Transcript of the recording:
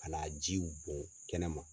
Ka na a jiw bɔn kɛnɛ ma.